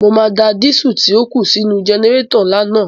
Mo máa da dísù tí ó kù sí inú-u jẹnẹrétọ̀ ńlá naa